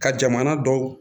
Ka jamana dɔw